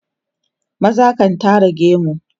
maza kan Tara gemu